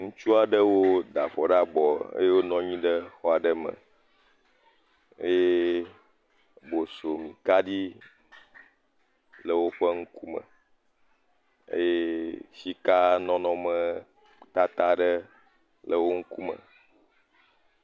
Ŋutsu aɖewo da avɔ ɖe abɔ eye wonɔ anyi ɖe xɔ aɖe me eye bosomikaɖi l;e wo ŋkume eye sikanɔnɔtata aɖe le wo ŋkume.